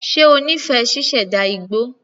Ṣe ó nífẹ̀ẹ́ ṣíṣẹ̀dá igbó?